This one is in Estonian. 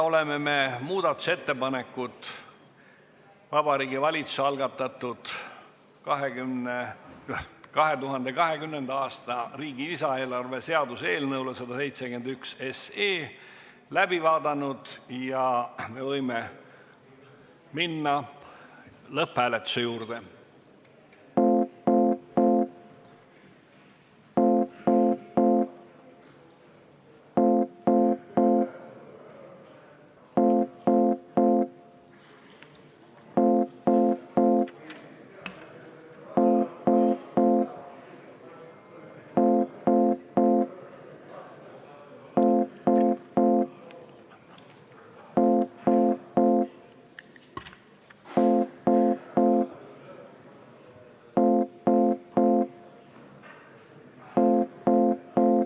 Oleme muudatusettepanekud Vabariigi Valitsuse algatatud riigi 2020. aasta lisaeelarve seaduse eelnõule kohta läbi vaadanud ja võime minna lõpphääletuse juurde.